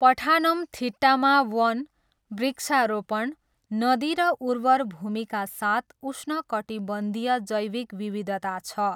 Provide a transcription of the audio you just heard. पठानमथिट्टामा वन, वृक्षारोपण, नदी र उर्वर भूमिका साथ उष्णकटिबन्धीय जैविक विविधता छ।